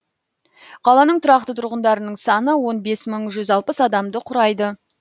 қаланың тұрақты тұрғындарының саны он бес мың жүз алпыс адамды құрайды